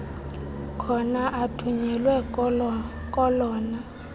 khona athunyelwe kolona